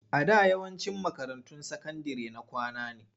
A da yawancin makarantun sakandire na kwana ne.